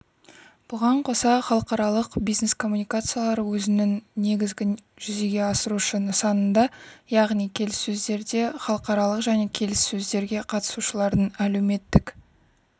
бұған қоса халықаралық бизнес-коммуникациялар өзінің негізгі жүзеге асырушы нысанында яғни келіссөздерде халықаралық және келіссөздерге қатысушылардың әлеуметтік